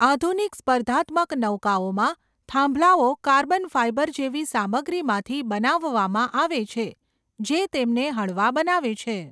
આધુનિક સ્પર્ધાત્મક નૌકાઓમાં થાંભલાઓ કાર્બન ફાઇબર જેવી સામગ્રીમાંથી બનાવવામાં આવે છે, જે તેમને હળવા બનાવે છે.